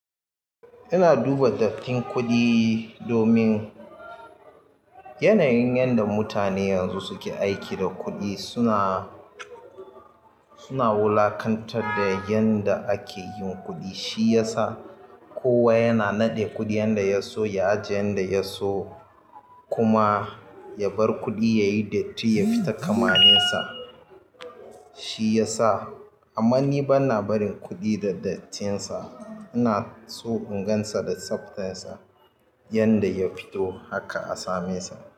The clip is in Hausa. Ina duba dattin kuɗi domin yanayin yanda mutane yanzu suke aiki da kuɗi suna suna wulaƙantar da yanda ake ma kuɗi. Shi yasa kowa yana naɗe kuɗi yanda ya so, ya ajiye yanda ya so kuma ya bar kuɗi yayi datti, yafita kamalinsa. Shi yasa amma ni bana barin kuɗi da dattinsa. Ina so in gansa da tsabtsansa yanda ya fito haka a same sa.